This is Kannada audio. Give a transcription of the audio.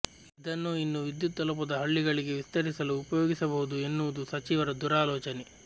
ಇದನ್ನು ಇನ್ನೂ ವಿದ್ಯುತ್ ತಲುಪದ ಹಳ್ಳಿಗಳಿಗೆ ವಿಸ್ತರಿಸಲು ಉಪಯೋಗಿಸಬಹುದು ಎನ್ನುವುದು ಸಚಿವರ ದೂರಾಲೋಚನೆ